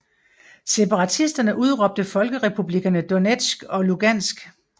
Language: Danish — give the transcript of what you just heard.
Separatisterne udråbte Folkerepublikkerne Donetsk og Lugansk